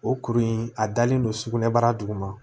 O kuru in a dalen don sugunɛbara duguma